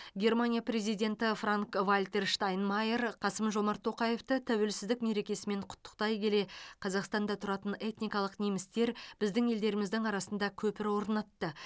германия президенті франк вальтер штайнмайер қасым жомарт тоқаевты тәуелсіздік мерекесімен құттықтай келе қазақстанда тұратын этникалық немістер біздің елдеріміздің арасында көпір орнатты